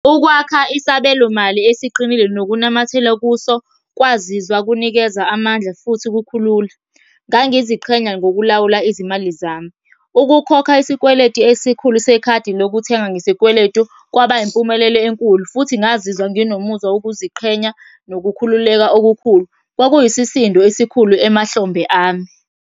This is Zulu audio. Ukwakha isabelo mali esiqinile nokunamathela kuso, kwazizwa kunikeza amandla futhi kukhulula. Ngangiziqhenya ngokulawula izimali zami. Ukukhokha isikweletu esikhulu sekhadi lokuthenga ngesikweletu, kwaba yimpumelelo enkulu, futhi ngazizwa nginomuzwa wokuziqhenya nokukhululeka okukhulu. Kwakuyisisindo esikhulu emahlombe ami.